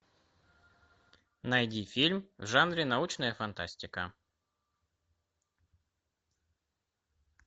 найди фильм в жанре научная фантастика